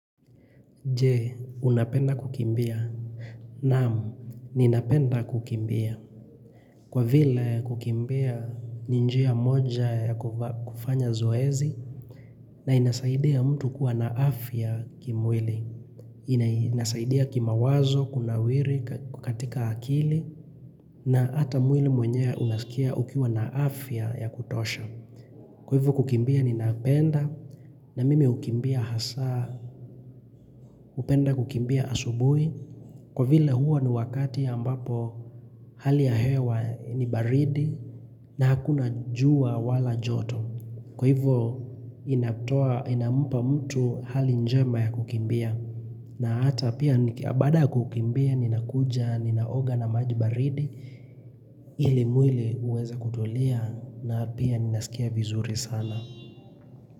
Je, unapenda kukimbia? Naam, ninapenda kukimbia. Kwa vile kukimbia ni njia moja ya kufanya zoezi na inasaidia mtu kuwa na afya kimwili. Inasaidia kimawazo, kunawiri, katika akili na ata mwili mwenyewe unaskia ukiwa na afya ya kutosha. Kwa ivo kukimbia ninapenda na mimi ukimbia hasaa. Upenda kukimbia asubui, kwa vile huwa ni wakati ambapo hali ya hewa ni baridi na hakuna jua wala joto. Kwa hivyo inatoa, inampa mtu hali njema ya kukimbia. Na hata pia baada ya kukimbia, ninakuja, ninaoga na maji baridi, ili mwili uweze kutulia na pia ninasikia vizuri sana.